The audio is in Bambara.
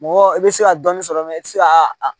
Mɔgɔ i bɛ se ka dɔɔnin sɔrɔ mɛ i tɛ se a